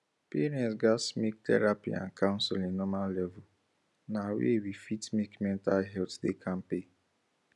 parents gats make therapy and counseling normal level na way we fit make mental health da kampe